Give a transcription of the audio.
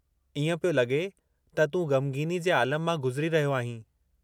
इएं पियो लॻे त तूं ग़मगीनी जे आलम मां गुज़री रहियो आहीं।